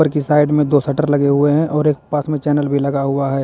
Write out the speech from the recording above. की साइड में दो शटर लगे हुए हैं और एक पास में चैनल भी लगा हुआ है।